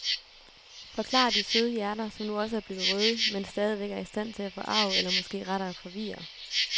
Forklarer de søde hjerter, som nu også er blevet røde, men stadigvæk er i stand til at forarge eller måske rettere forvirre.